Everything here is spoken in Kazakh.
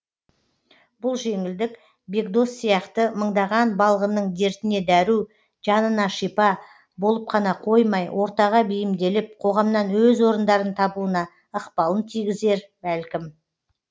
бұл жеңілдік бекдос сияқты мыңдаған балғынның дертіне дәру жанына шипа болып қана қоймай ортаға бейімделіп қоғамнан өз орындарын табуына ықпалын тигізер бәлкім